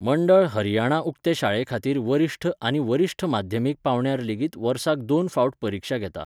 मंडळ हरियाणा उक्ते शाळे खातीर वरिश्ठ आनी वरिश्ठ माध्यमीक पांवड्यार लेगीत वर्साक दोन फावट परिक्षा घेता.